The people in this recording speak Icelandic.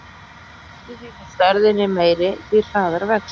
Eftir því sem stærðin er meiri, því hraðar vex hún.